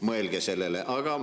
Mõelge sellele!